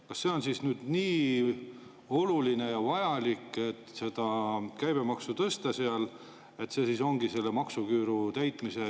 Kas on siis nüüd nii oluline ja vajalik seda käibemaksu tõsta – see siis ongi maksuküüru täitmise …